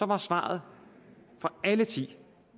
var svaret fra alle ti at